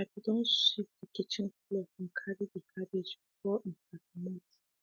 i be don sweep de kitchen floor and carry de cabbage before um i comot